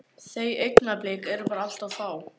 Þau augnablik eru bara allt of fá.